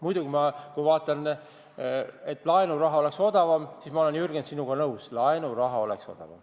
Muidugi, kui ma vaatan seda, et laenuraha oleks odavam, siis ma olen, Jürgen, sinuga nõus, et laenuraha oleks odavam.